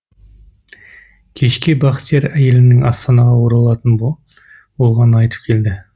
кешке бақтияр әйелінің астанаға оралатын болғанын айтып келді